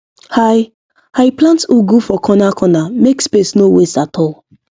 i i plant ugu for cornercorner make space no waste at all